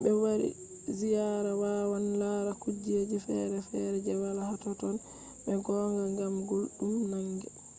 himɓe wari ziyaara wawan lara kujeji fere fere je wala ha totton be gonga ngam gulɗum nange